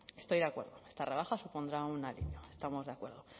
estoy de acuerdo esta rebaja supondrá un alivio estamos de acuerdo